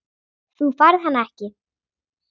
Þú færð hann ekki.